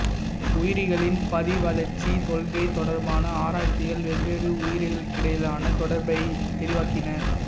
உயிரிகளின் படிவளர்ச்சிக் கொள்கை தொடர்பான ஆராய்ச்சிகள் வெவ்வேறு உயிரிகளுக்கிடையிலான தொடர்பைத் தெளிவாக்கின